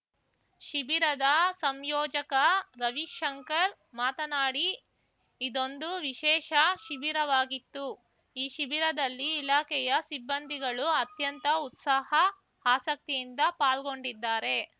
ಶಿಬಿರದ ಸಂಯೋಜಕ ರವಿಶಂಕರ್‌ ಮಾತನಾಡಿ ಇದೊಂದು ವಿಶೇಷ ಶಿಬಿರವಾಗಿತ್ತು ಈ ಶಿಬಿರದಲ್ಲಿ ಇಲಾಖೆಯ ಸಿಬ್ಬಂದಿಗಳು ಅತ್ಯಂತ ಉತ್ಸಾಹ ಆಸಕ್ತಿಯಿಂದ ಪಾಲ್ಗೊಂಡಿದ್ದಾರೆ